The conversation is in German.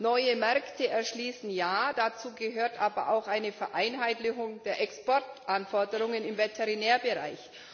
Neue Märkte erschließen ja, dazu gehört aber auch eine Vereinheitlichung der Exportanforderungen im Veterinärbereich.